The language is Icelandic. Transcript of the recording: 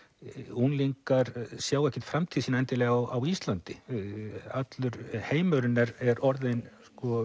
unglingar sjá ekkert framtíð sína endilega á Íslandi allur heimurinn er er orðinn